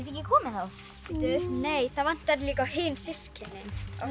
ekki komið þá nei það vantar líka á hin systkinin